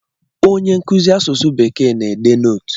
Onye nkụzi asụsụ Bekee na-ede nootu.